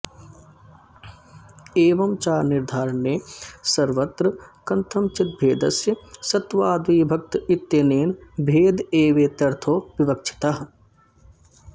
एवं च निर्धारणे सर्वत्र कथंचिद्भेदस्य सत्त्वाद्विभक्त इत्यनेन भेद एवेत्यर्थो विवक्षितः